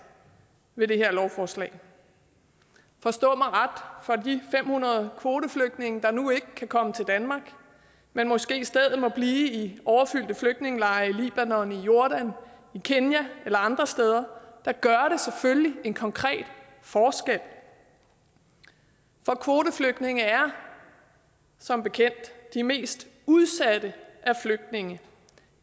ved det her lovforslag forstå mig ret for de fem hundrede kvoteflygtninge der nu ikke kan komme til danmark men måske i stedet må blive i overfyldte flygtningelejre i libanon i jordan i kenya eller andre steder gør det selvfølgelig en konkret forskel for kvoteflygtninge er som bekendt de mest udsatte af flygtningene